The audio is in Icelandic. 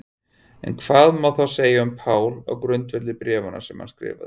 En hvað má þá segja um Pál á grundvelli bréfanna sem hann skrifaði?